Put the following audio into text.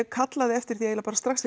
kallaði eftir því eiginlega bara strax